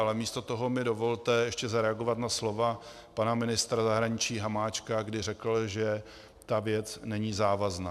Ale místo toho mi dovolte ještě zareagovat na slova pana ministra zahraničí Hamáčka, který řekl, že ta věc není závazná.